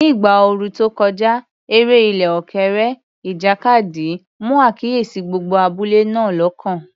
Ní ìgbà ooru tó kọjá, eré ilẹ̀ òkèèrè, ìjàkadì, mú àkíyèsí gbogbo abúlé náà lọ́kàn.